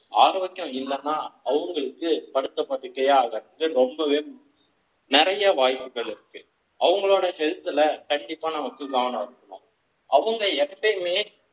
ஆரோக்கிய இல்லேன்னா அவங்களுக்கு படுத்த படுக்கை ஆவதற்கு ரொம்பவே நிறைய வாய்ப்புகள் இருக்கு அவங்களோட health ல கண்டிப்பா நமக்கு கவனமா இருக்கணும் அவங்க எப்பவுமே